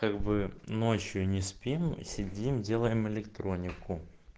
как бы ночью не спим сидим делаем электронику